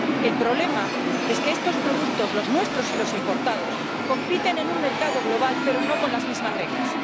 El problema es que estos productos, los nuestros y los importados, compiten en un mercado global, pero no con las mismas reglas.